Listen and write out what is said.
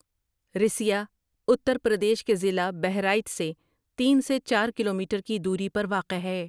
رِسیا اتر پردیش کے ضلع بہرائچ سےتین سے چار کلومیٹر کی دوری پر واقع ہے ۔